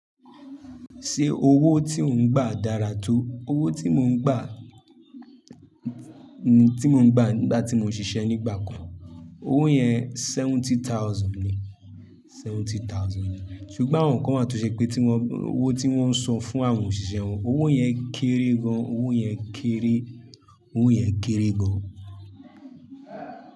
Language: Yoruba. Ṣé owó tí ò ń gbà dára tó? Owó tí mo ń gbà, tí mo ń gbà nígbà tí mo ṣiṣẹ́ nígbà kan, owó yẹn seventy thousand ni, seventy thousand ni. Ṣùgbọ́n àwọn kan wa to ṣẹ pé tí wọ́n, owó tí wọ́n ń san fún àwọn òṣìṣẹ́ wọn, owó yẹn kéré gan, owó yẹn kéré, owó yẹn kéré gan.